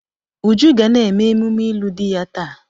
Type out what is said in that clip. Uju ga na-eme emume ịlụ di ya taa.